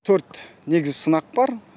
төрт негізгі сынақ бар